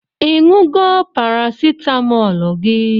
I ṅụgo parasitamolu gi?